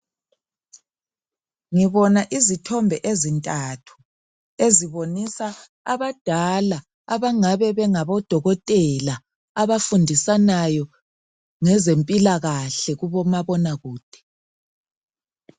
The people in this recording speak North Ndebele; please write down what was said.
Ngibona izithombe ezintathu ,ezibonisa abadala abangabe bengabodokothela .Abafundisanayo ngezempilakahle kubomabonakude.